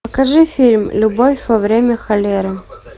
покажи фильм любовь во время холеры